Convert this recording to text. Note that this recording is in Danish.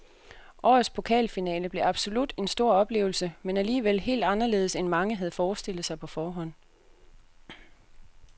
Årets pokalfinale blev absolut en stor oplevelse, men alligevel helt anderledes end mange havde forestillet sig på forhånd.